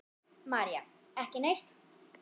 María: Ekki neitt.